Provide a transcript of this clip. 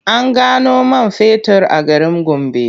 An gano man fetur a garin Gombe.